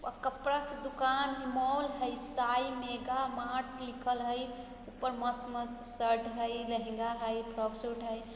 अ-कपड़ा के दूकान है मॉल हई साई मेगा मार्ट लिखल हई| ऊपर मस्त-मस्त शर्ट हई लेहेंगा हई फ्रॉक सूट हई।